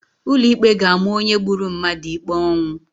Ụlọ ikpe ga-ama onye gburu mmadụ ikpe ọnwụ.